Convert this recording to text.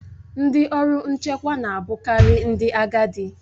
Ndị ọrụ nchekwa na a bụkari ndị agadi.